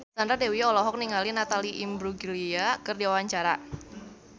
Kevin Aprilio olohok ningali Natalie Imbruglia keur diwawancara